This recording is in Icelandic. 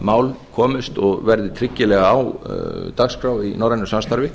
mál komist og verði tryggilega á dagskrá í norrænu samstarfi